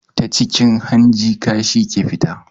Ta cikin hanji kashi ke fita